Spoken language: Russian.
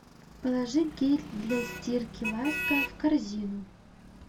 положи гель для стирки ласка в корзину